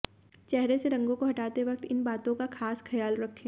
चेहरे से रंगों को हटाते वक्त इन बातों का खास ख्याल रखें